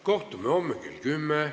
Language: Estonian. Kohtume homme kell 10.